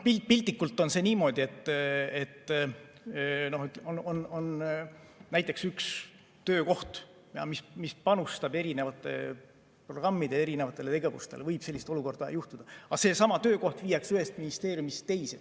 Piltlikult on see niimoodi, et on näiteks üks töökoht, mis panustab erinevate programmide erinevatele tegevustele, võib sellist olukorda, aga seesama töökoht viiakse ühest ministeeriumist teise.